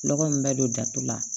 Nɔgɔ in bɛ don datu la